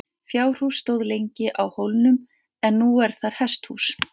Fjárhús stóð lengi á hólnum en nú er þar hesthús.